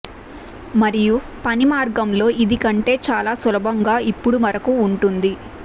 మరియు పని మార్గంలో ఇది కంటే చాలా సులభంగా ఇప్పుడు వరకు ఉంటుంది